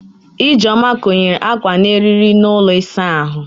Ijeoma konyere akwa ya n'eriri n'ụlọ ịsa ahụ